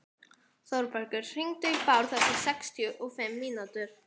Þórbergur, hringdu í Bárð eftir sextíu og fimm mínútur.